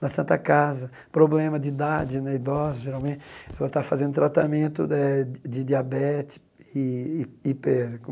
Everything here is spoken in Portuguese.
Na Santa Casa, problema de idade né idosa, geralmente, ela está fazendo tratamento eh de diabetes e hiper como